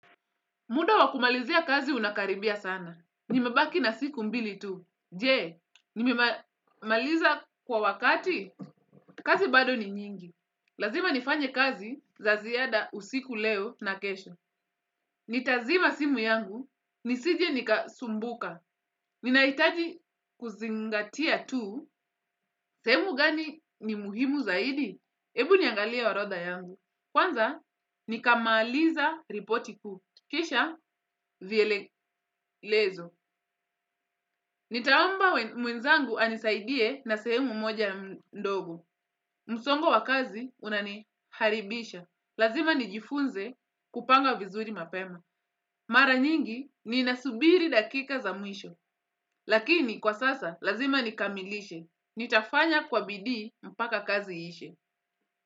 Muda wakumalizia kazi unakaribia sana. Nimabaki na siku mbili tu. Je, nimemaliza kwa wakati? Kazi bado ni nyingi. Lazima nifanye kazi, za ziada usiku leo, na kesho. Nitazima simu yangu, nisije nikasumbuka. Ninaitaji kuzingatia tu, sehemu gani ni muhimu zaidi? Ebu niangalie orodha yangu. Kwanza, nikamaliza ripoti kuu. Kisha, vielelezo. Nitaomba mwenzangu anisaidie na sehemu moja ndogo. Msongo wa kazi, unaniharibisha. Lazima nijifunze, kupanga vizuri mapema. Mara nyingi, ninasubiri dakika za mwisho. Lakini, kwa sasa, lazima nikamilishe. Nitafanya kwa bidii, mpaka kazi ishe.